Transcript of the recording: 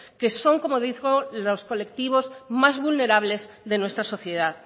que son como digo los colectivos más vulnerables de nuestra sociedad